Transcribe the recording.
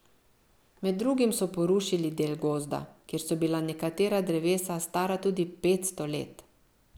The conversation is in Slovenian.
Med drugim so porušili del gozda, kjer so bila nekatera drevesa stara tudi petsto let.